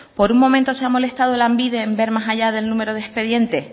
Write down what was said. por un momento se ha molestado lanbide en ver más allá del número de expediente